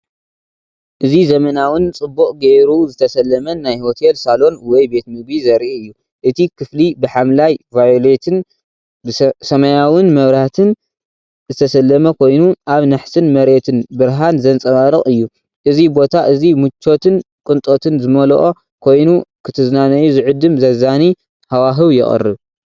እዚ ዘመናውን ጽቡቕ ጌሩ ዝተሰለመን ናይ ሆቴል ሳሎን ወይ ቤት ምግቢ ዘርኢ እዩ። እቲ ክፍሊ ብሐምላይ/ቫዮሌትን ሰማያውን መብራህቲ ዝተሰለመ ኮይኑ፡ኣብ ናሕስን መሬትን ብርሃን ዘንጸባርቕ እዩ። እዚ ቦታ እዚ ምቾትን ቅንጦትን ዝመልኦ ኮይኑ፡ ክትዝናነዩ ዝዕድም ዘዛንይ ሃዋህው የቕርብ።